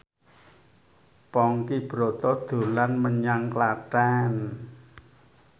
Ponky Brata dolan menyang Klaten